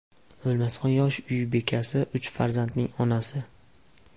O‘lmasxon – yosh uy bekasi, uch farzandning onasi.